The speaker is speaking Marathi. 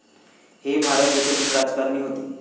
हे भारत देशातील राजकारणी होते.